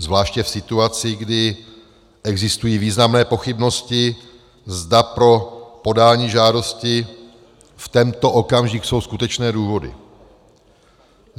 Zvláště v situaci, kdy existují významné pochybnosti, zda pro podání žádosti v tento okamžik jsou skutečné důvody?